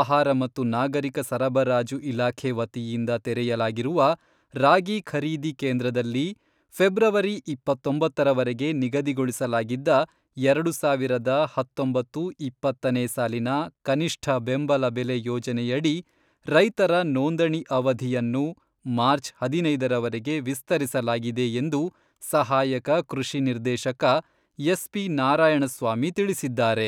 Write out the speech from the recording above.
ಆಹಾರ ಮತ್ತು ನಾಗರಿಕ ಸರಬರಾಜು ಇಲಾಖೆ ವತಿಯಿಂದ ತೆರೆಯಲಾಗಿರುವ ರಾಗಿ ಖರೀದಿ ಕೇಂದ್ರದಲ್ಲಿ ಫೆಬ್ರವರಿ ಇಪ್ಪತ್ತೊಂಬತ್ತರವರೆಗೆ ನಿಗದಿಗೊಳಿಸಲಾಗಿದ್ದ ಎರಡು ಸಾವಿರದ ಹತ್ತೊಂಬತ್ತು ಇಪ್ಪತ್ತನೇ ಸಾಲಿನ ಕನಿಷ್ಠ ಬೆಂಬಲ ಬೆಲೆ ಯೋಜನೆಯಡಿ ರೈತರ ನೋಂದಣಿ ಅವಧಿಯನ್ನು ಮಾರ್ಚ್ ಹದಿನೈದರವರೆಗೆ ವಿಸ್ತರಿಸಲಾಗಿದೆ ಎಂದು ಸಹಾಯಕ ಕೃಷಿ ನಿರ್ದೇಶಕ ಎಸ್, ಪಿ, ನಾರಾಯಣಸ್ವಾಮಿ ತಿಳಿಸಿದ್ದಾರೆ.